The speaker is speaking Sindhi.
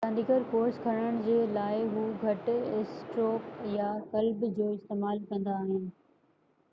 رانديگر ڪورس کٽڻ جي لاءِ هو گهٽ اسٽروڪ يا ڪلب جو استعمال ڪندا آهن